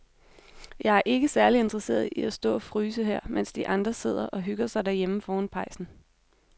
Jeg er ikke særlig interesseret i at stå og fryse her, mens de andre sidder og hygger sig derhjemme foran pejsen.